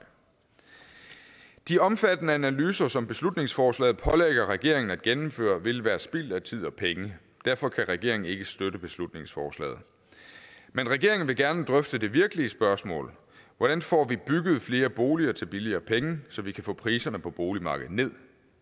de omfattende analyser som beslutningsforslaget pålægger regeringen at gennemføre vil være spild af tid og penge derfor kan regeringen ikke støtte beslutningsforslaget men regeringen vil gerne drøfte det virkelige spørgsmål hvordan får vi bygget flere boliger til billigere penge så vi kan få priserne på boligmarkedet ned